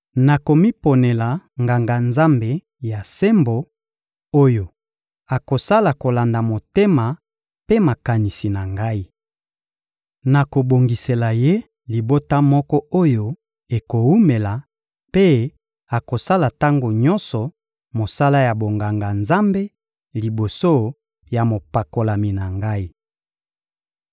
Nakomiponela Nganga-Nzambe ya sembo oyo akosala kolanda motema mpe makanisi na Ngai. Nakobongisela ye libota moko oyo ekowumela, mpe akosala tango nyonso mosala ya bonganga-Nzambe liboso ya mopakolami na Ngai.